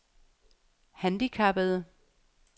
handicappede